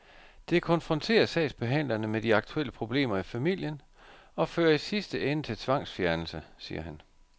Det konfronterer sagsbehandlerne med de aktuelle problemer i familien og fører i sidste ende til tvangsfjernelse, siger han.